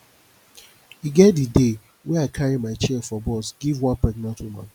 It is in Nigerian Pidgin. e get di day wey i carry my chair for bus give one pregnant woman